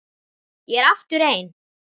Ég er aftur ein.